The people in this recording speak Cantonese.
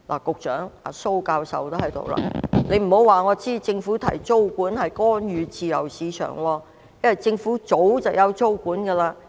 局長——蘇教授也在席——請不要告訴我，政府提出租管，是干預自由市場，因為政府早已推行租管。